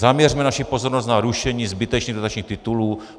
Zaměřme naši pozornost na rušení zbytečných dotačních titulů.